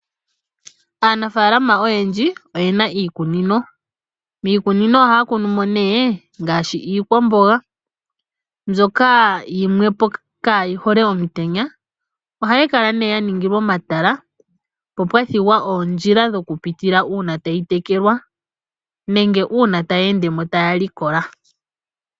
Aanafaalama oyendji oye na iikunino, miikunino ohaya kunumo nee ngaashi iikwamboga mbyoka yimwepo ka yi hole omutenya. Ohayi kala nee yaningilwa omatala popwa thigwa oondjila dhokupitilwa uuna tayi tekelwa nenge uuna taya endemo taya likola.